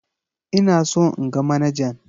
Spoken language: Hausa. Ina so in ga manajan.